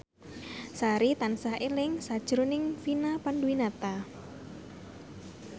Sari tansah eling sakjroning Vina Panduwinata